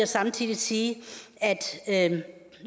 samtidig sige at